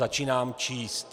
Začínám číst: